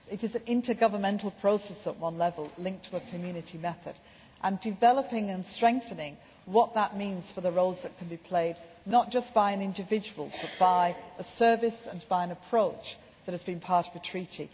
Council. It is an intergovernmental process at one level, linked to a Community method and developing and strengthening what that means for the roles that can be played, not just by an individual, but by a service and an approach that has been part of